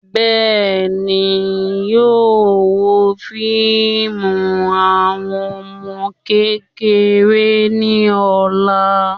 Bẹ́ẹ̀ni, yóò wo fíìmù àwọn ọmọ kékeré ní ọ̀la